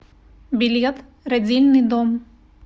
билет родильный дом